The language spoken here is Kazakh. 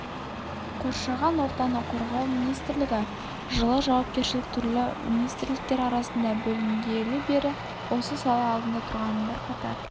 қоршаған ортаны қорғау министрлігі жылы жауапкершілік түрлі министрліктер арасында бөлінгелі бері осы сала алдында тұрған бірқатар